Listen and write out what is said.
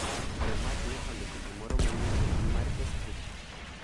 Be Mark ne ondiko gimoro manyien e mbui mar facebook